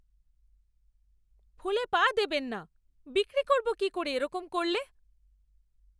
ফুলে পা দেবেন না! বিক্রি করবো কী করে এরকম করলে!